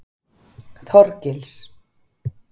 Þorgils